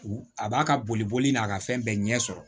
U a b'a ka boli boli boli n'a ka fɛn bɛɛ ɲɛ sɔrɔ